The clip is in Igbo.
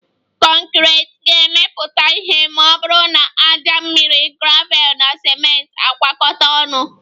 Conkriti ga-emepụta ma ọ bụrụ na ájá, mmiri, gravel na ciment na-agwakọta ọnụ